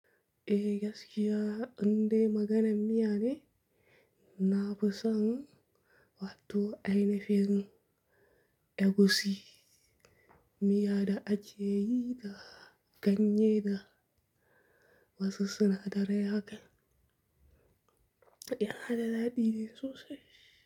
Eh gaskiya, inde maganan miya ne, na fi son wato a ina fen, egusi, miya da ake yi da ganye da wasu sinadaran haƙa. Ya naɗa daɗi ne sosai.